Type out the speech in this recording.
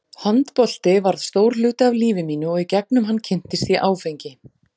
Handbolti varð stór hluti af lífi mínu og í gegnum hann kynntist ég áfengi.